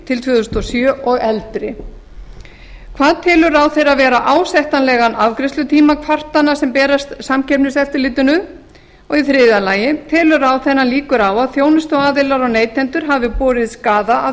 til tvö þúsund og sjö og eldri annars hvað telur ráðherra vera ásættanlegan afgreiðslutíma kvartana sem berast samkeppniseftirlitinu þriðja telur ráðherra líkur á að þjónustuaðilar og neytendur hafi borið skaða af